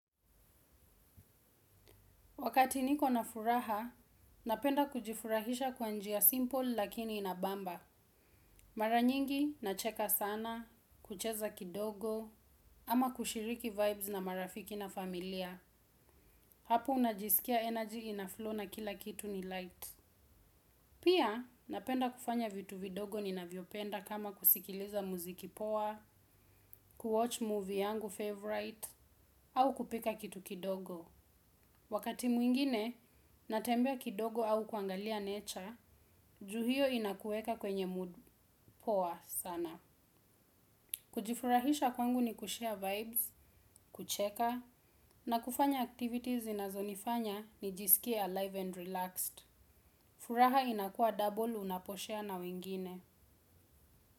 Wakati niko na furaha, napenda kujifurahisha kwanjia simple lakini inabamba. Mara nyingi, nacheka sana, kucheza kidogo, ama kushiriki vibes na marafiki na familia. Hapo unajisikia energy ina flow na kila kitu ni light. Pia, napenda kufanya vitu vidogo ninavyopenda kama kusikiliza muziki poo, kuwatch movie yangu favorite, au kupika kitu kidogo. Wakati mwingine, natembea kidogo au kuangalia nature, ju hio inakueka kwenye mood poa sana. Kujifurahisha kwangu ni kushare vibes, kucheka, na kufanya activities zinazonifanya nijisikie alive and relaxed. Furaha inakua double unaposhare na wengine.